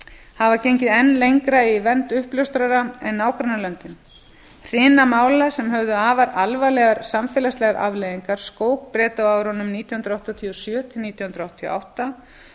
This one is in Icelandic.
hafa gengið enn lengra í vernd uppljóstrara en nágrannalöndin hrina mála sem höfðu afar alvarlegar samfélagslegar afleiðingar skók breta á árunum nítján hundruð áttatíu og sjö til nítján hundruð áttatíu og átta